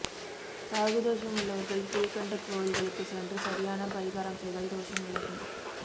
ராகு தோஷம் உள்ளவர்கள் கீழ்க்கண்ட கோவில்களுக்கு சென்று சரியான பரிகாரம் செய்தால் தோஷம் விலகும்